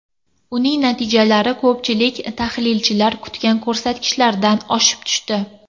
Uning natijalari ko‘pchilik tahlilchilar kutgan ko‘rsatkichlardan oshib tushdi.